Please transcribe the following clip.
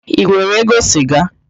Ị nwere ego siga?